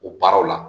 O baaraw la